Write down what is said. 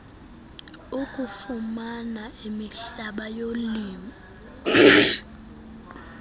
okufumana imihlaba yolimo